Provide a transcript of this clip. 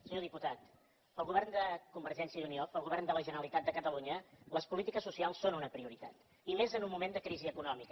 senyor diputat per al govern de convergència i unió per al govern de la generalitat de catalunya les polítiques socials són una prioritat i més en un moment de crisi econòmica